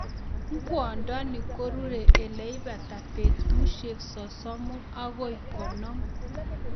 Ing'wondoni korure ileibata betusiek sosomu akoi konom.